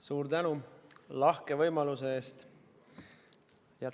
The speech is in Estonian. Suur tänu lahke võimaluse eest!